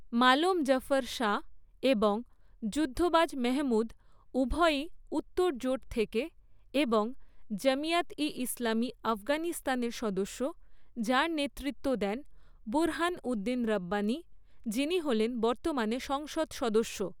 মালোম জাফর শাহ এবং যুদ্ধবাজ মেহমুদ উভয়ই 'উত্তর জোট' থেকে এবং জামিয়াত ই ইসলামী আফগানিস্তানের সদস্য যার নেতৃত্ব দেন বুরহানউদ্দিন রব্বানী, যিনি হলেন বর্তমানে সংসদ সদস্য।